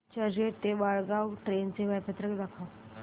चर्चगेट ते वाणगांव ट्रेन चे वेळापत्रक दाखव